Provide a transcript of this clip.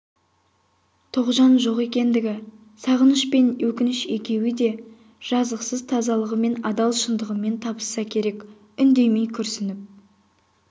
тоғжан жоқ ендігі сағыныш пен өкініш екеуі де жазықсыз тазалығымен адал шындығымен табысса керек үндемей күрсініп